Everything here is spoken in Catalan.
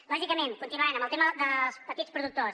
lògicament continuant amb el tema dels petits productors